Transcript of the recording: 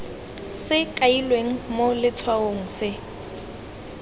se kailweng mo letshwaong se